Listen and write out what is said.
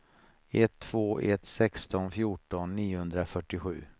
ett två ett sex fjorton niohundrafyrtiosju